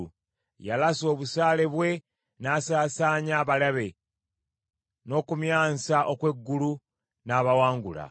Yalasa obusaale bwe n’asaasaanya abalabe; n’okumyansa okw’eggulu n’abawangula.